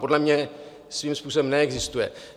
Podle mě svým způsobem neexistuje.